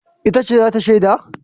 Ita ce za ta shaida?